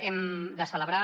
hem de celebrar